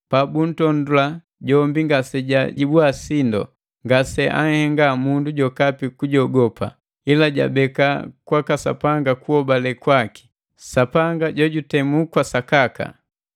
Pabuntondola jombi ngasejajibua sindu jombi ngase anhenga mundu jokapi kujogopa, ila jabeka kwaka Sapanga kuhobale kwaki, Sapanga jojutemu kwa sakaka.